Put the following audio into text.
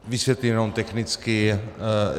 Vysvětlím jenom technicky.